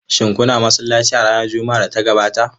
Shin kuna masallaci a ranar Juma'ar da ta gabata?